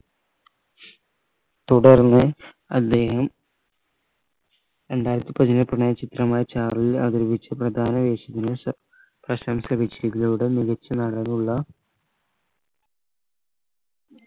തുടർന്ന് അദ്ദേഹം രണ്ടായിരത്തി പതിനേഴ് പ്രണയ ചിത്രമായ ചാർലിയിൽ അവതരിപ്പിച്ച പ്രധാന വേഷത്തിന് സ പ്രശംസ മികച്ച നടനുള്ള